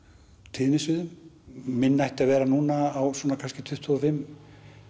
tíðnisviðum minn ætti að vera núna á svona kannski tuttugu og fimm